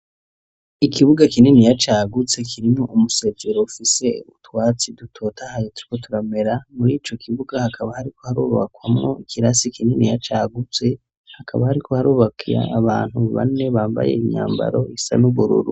Ikibuga kininiya cagutse kirimwo umusezero ufise utwatsi dutotahaye turiko turamera, muri ico kibuga hakaba hariko harubakwamwo ikirasi kininiya cagutse hakaba hariko harubaka abantu bane bambaye imyambaro isa n'ubururu.